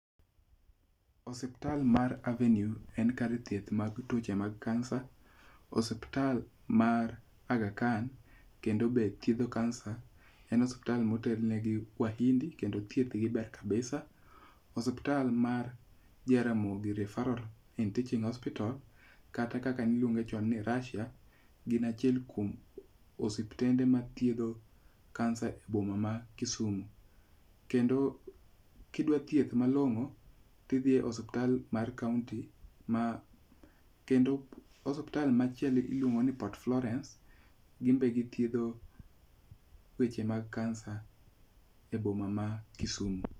Osiptal mar Avenue en kar thieth mag tuoche mag kansa. Osiptal mar Agha Khan kendo be thiedho kansa. En osiptal ma otel negi mahindi kendo thieth gi ber kabisa. Osiptal mar Jaramogi Referral and Teaching Hospital kata kaka niluonge chon ni Russia gin achiel kuom osiptende mathiedho kansa e boma ma Kisumo. Kendo kidwa thieth malong'o ti dhi e osptal mar kaunti am kendo osiptal machielo iluongo ni Port Florence. Gimbe githiedho weche mag kansa e boma ma Kisumo.